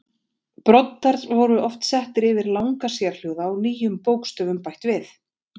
Broddar voru oft settir yfir langa sérhljóða og nýjum bókstöfum bætt við.